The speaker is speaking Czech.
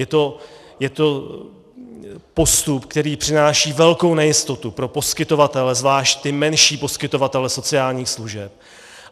Je to postup, který přináší velkou nejistotu pro poskytovatele, zvláště ty menší poskytovatele sociálních služeb.